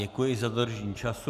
Děkuji za dodržení času.